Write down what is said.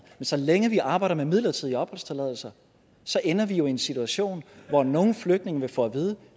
så længe vi arbejder med midlertidige opholdstilladelser ender vi jo i en situation hvor nogle flygtninge vil få at vide